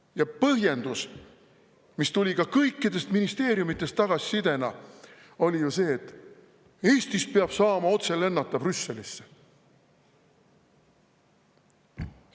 Ja põhjendus, mis tuli ka kõikidest ministeeriumidest tagasisidena, oli ju see, et Eestist peab saama otse lennata Brüsselisse.